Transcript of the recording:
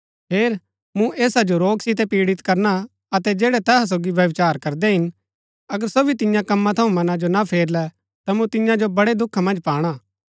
हेर मूँ ऐसा जो रोग सितै पीढित करना अतै जैड़ै तैहा सोगी व्यभिचार करदै हिन अगर सो भी तियां कम्मा थऊँ मना जो ना फेरलै ता मूँ तियां जो वडै़ दुखा मन्ज पाणा हा